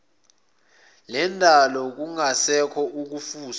lendalo kungasekho ukufuswa